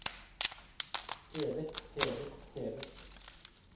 hevet hevet hevet